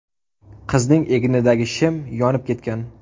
Qizning egnidagi shim yonib ketgan.